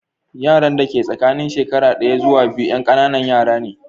Yaran da ke tsakanin shekara ɗaya zuwa biyu 'yan ƙananan yara ne.